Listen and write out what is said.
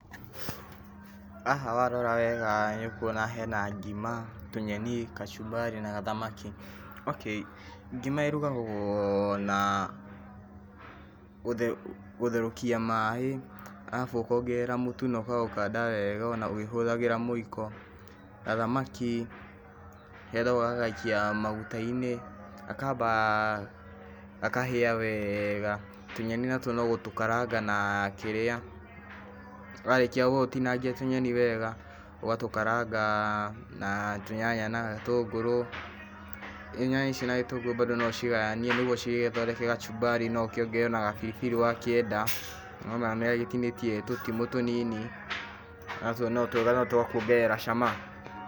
Haha warora wega nĩ ũkuona hena ngima tũnyeni, gacumbari, na gathamaki okay. Ngima ĩrugagwo na gũtherũkia maĩ, arabu ũkongerera mũtu ũkaũkanda wega ona ũkĩhũthagĩra mũiko, gathamaki kendaga ũgagaikia magutainĩ, gakamba gakahĩa wega, tunyeni natuo no gũtũkaranga na kĩrĩa, warĩkia gũtinangia tũnyeni wega, ũgatũkaranga na tũnyanya na gĩtũngũrũ, na nyanya ici na gĩtũngũrũ bado no ũcigayanie nĩguo cigĩgĩthondeke gacumbari, no ũkĩongerere ona gabiribiri wakĩenda, nĩũrona nĩ agĩtinĩtie tũtimũ tũnini, natuo no twega no twakuongerera cama.